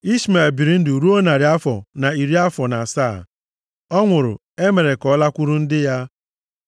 Ishmel biri ndụ ruo narị afọ na iri afọ na asaa. Ọ nwụrụ, e mere ka ọ lakwuru ndị ya.